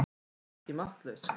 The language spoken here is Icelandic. Hún er ekki máttlaus.